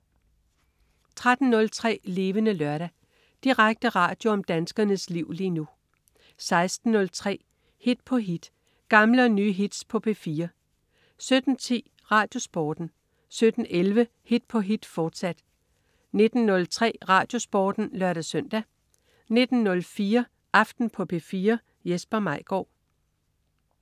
13.03 Levende Lørdag. Direkte radio om danskernes liv lige nu 16.03 Hit på hit. Gamle og nye hits på P4 17.10 RadioSporten 17.11 Hit på hit, fortsat 19.03 RadioSporten (lør-søn) 19.04 Aften på P4. Jesper Maigaard